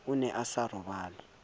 o ne a sa robale